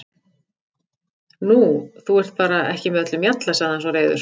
Nú, þú ert bara ekki með öllum mjalla, sagði hann svo reiður.